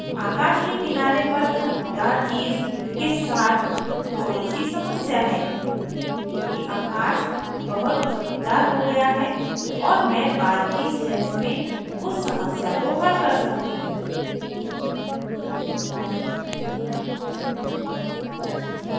आकाश के किनारे पर चमकदार चीज़ के साथ थोड़ी सी समस्या है क्योंकि आकाश बहुत चमकदार हो गया है और मैं बाद की steps में उस समस्या को हल कर सकती हूँ